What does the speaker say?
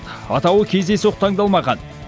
атауы кездейсоқ таңдалмаған